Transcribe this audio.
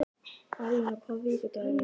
Arína, hvaða vikudagur er í dag?